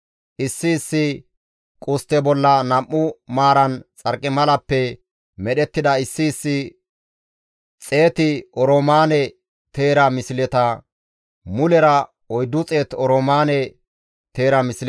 issi issi qustte bolla nam7u maaran xarqimalappe medhettida issi issi xeet oroomaane teera misleta, mulera 400 oroomaane teera misleta,